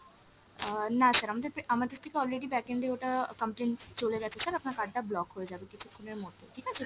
অ্যাঁ না sir আমদের থেকে already backend এ ওটা complain চলে গেছে sir আপনার card টা block হয়ে যাবে কিছুক্ষণের মধ্যেই ঠিক আছে।